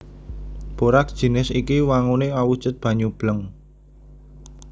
Boraks jinis iki wanguné awujud banyu bleng